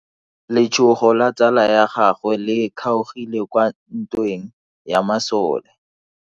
Letsogo la tsala ya gagwe le kgaogile kwa ntweng ya masole.